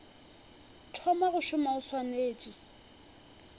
thoma go šoma o swanetše